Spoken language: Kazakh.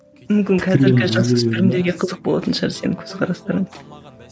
мүмкін қазіргі жасөспірімдерге қызық болатын шығар сенің көзқарастарың